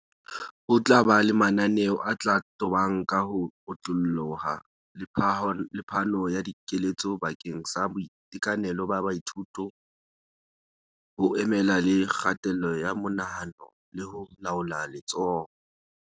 Ho tla ba le mananeo a tla tobana ka ho otlolloha le phano ya dikeletso bakeng sa boitekanelo ba baithuto, ho emelana le kgatello ya monahano le ho laola letshoho.